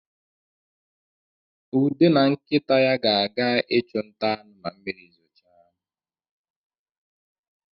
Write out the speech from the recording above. Ude na nkịta ya ga-aga ịchụ nta anụ ma mmiri zochaa